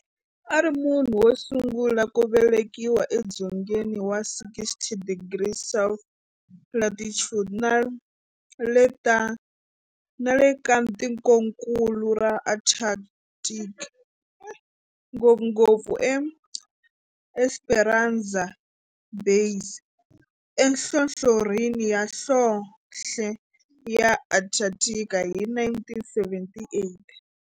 A ri munhu wosungula ku velekiwa edzongeni wa 60 degrees south latitude nale ka tikonkulu ra Antarctic, ngopfungopfu eEsperanza Base enhlohlorhini ya nhlonhle ya Antarctic hi 1978.